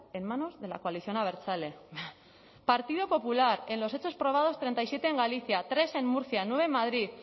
en manos de la coalición abertzale partido popular en los hechos probados treinta y siete en galicia tres en murcia nueve en madrid